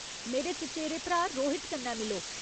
मेरे चचेरे भ्राऽ रोहित कन्नै मिलो।